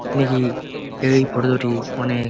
দেখি এই ফটো দুটি অনেক--